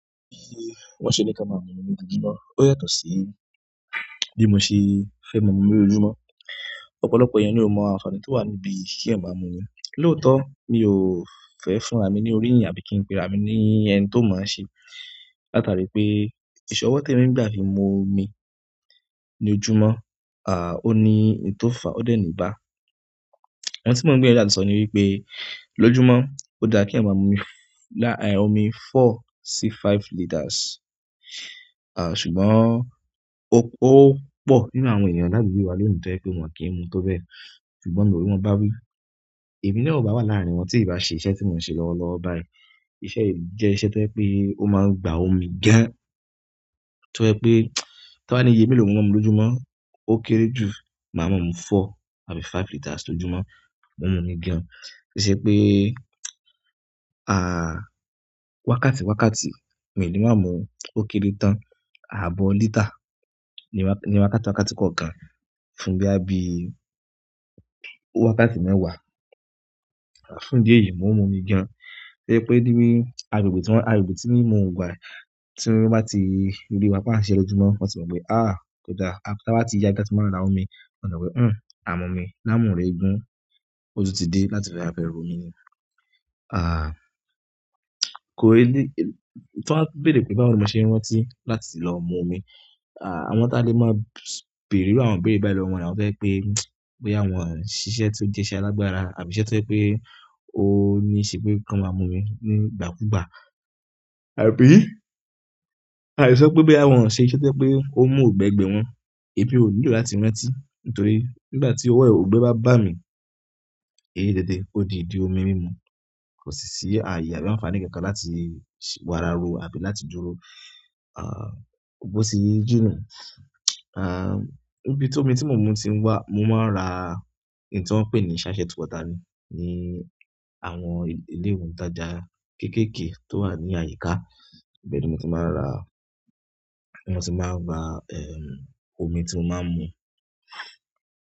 Bi won ṣe ní kí a máa mu omi ni ojojumo. Ó yàtọ̀ sí bí mo ṣe fẹ́ máa mu omi lójoojúmọ́. Ọ̀pọ̀lọpọ̀ ènìyàn ni ó mọ àǹfààní tí ó wà níbí kí ẹyan máa mu omi. Lòótọ́, mi ò fẹ́ fún ra mi ní orí yin àbí ki n pe ra mi ní ẹni tó mọ̀ n ṣe. Látàrí pé, ì sọ wọ́ te mi n gbà fi mu omi ní ojúmọ́, à, ó ní n to fa, ó dẹ̀ ní bá. Ohun tí mo gbìyànjú àti so ní wípé, lójúmọ́, ó dára kí ẹyan máa mu láàárín omi four sí five liters. À, ṣùgbọ́n ó pọ̀ nínú àwọn ènìyàn ládùúgbò wa leyi to je wípé wọ́n kì í mu tó bẹ́ẹ̀. Ṣùgbọ́n mi o ri won bá wí, èmi náà ò bá wà láàrin wọn tí ì bá ṣe iṣẹ́ tí mò ń ṣe lọ́wọ́lọ́wọ́ báyìí. Iṣẹ́ yìí jẹ́ iṣẹ́ tó je wípé, ó máa ń gba omi gan-an. To je pé, tí wọ́n bá ní iye mélòó ni mo máa ń mu lójúmọ́, ó kéré jù máa ma mú four àbí five liters lójúmọ́, mo ń mu ni gan-an. Ó ṣe pé, à, wákàtí wákàtí, mi ò le máa mú ó kéré tán. Ààbọ̀ lítà ní wákàtí wákàtí kọ̀ọ̀kan fún boya bi wákàtí mẹ́wàá, fún idi èyí, mò ń mu ni gan-an. To je pé ni, agbègbè tí mo wa yìí, tí woń bá ti ríi wá pa á ṣe lójúmọ́, wọn ti máa pe, "à, kò daa." Ti a bá ti yaa ibi tí a màá ti n ra omi, wọ́n a ti mo pe, "un, à mú omi." láàmú re gun, ó tún ti dé láti fe wa fe ra omi ni. À, kò rí, tí wọ́n bá bẹ̀rẹ̀ pé báwo ni mo ṣe ń rántí láti lọ mu omi. À, àwọn tá lè máa béèrè iru àwọn ìbéèrè báyìí lọ wọ́n ni àwọn to je wípé, boya wọn ṣiṣẹ́ tí ó jẹ́ iṣẹ́ alágbára àbí iṣẹ́ tó je pé ó ní ṣe pé kí wọ́n máa mu omi ní ìgbàkúgbà. Àbí, a le so wípé boya won sise to je wípé o n mu oungbe gbe won ò nílò láti rántí. Nítorí nígbà tí owo e oungbe bá ba mi, èyí déédé, ó di ìdí omi mímu. Kò si sí ayé àbí àǹfààní kankan láti wára ro àbí láti dúró, à, bó ti jína. À, níbi tí omi tí mò ń mu ti ń wá, mo máa ń ra èyí tí wọ́n ń pè ní ṣááṣẹt water ni, ni àwọn ile oun taja kekeke tó wà ní àyíká. Bẹ́ẹ̀ ni mo ti máa ń ra, mo ti máa ń ra, ẹm, omi tí mo máa ń mu.